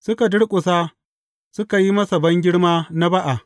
Suka durƙusa suka yi masa bangirma na ba’a.